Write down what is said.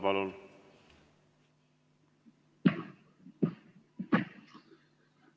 Palun!